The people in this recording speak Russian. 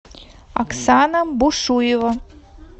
оксана бушуева